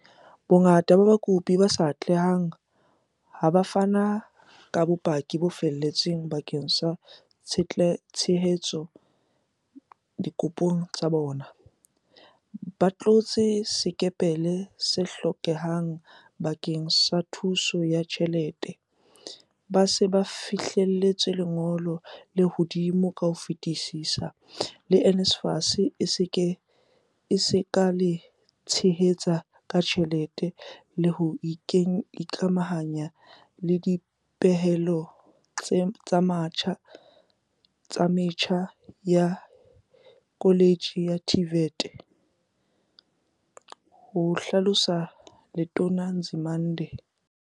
"Bongata ba bakopi ba sa atlehang ha bo a fana ka bopaki bo felletseng bakeng sa ho tshehetsa dikopo tsa bona, ba tlotse sekepele se hlokehang bakeng sa thuso ya tjhelete, ba se ba fihlelletse lengolo le hodimo ka ho fetisisa le NSFAS e ka le tshehetsang ka tjhelete le ho se ikamahanye le dipehelo tsa metjha ya koletjhe ya TVET," ho hlalosa Letona Nzimande.